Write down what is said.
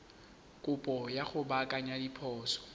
kopo ya go baakanya diphoso